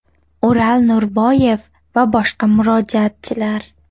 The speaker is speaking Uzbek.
O‘ral Norboyev va boshqa murojaatchilar.